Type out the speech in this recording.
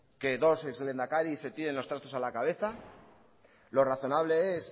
que dos ex lehendakaris se tiren los trastos a la cabeza lo razonable es